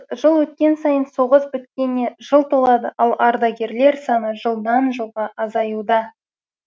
жыл өткен сайын соғыс біткеніне жыл толады ал ардагерлер саны жылдан жылға азаюда